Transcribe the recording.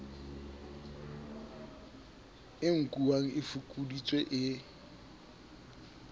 e nkuwang e fokoditswe e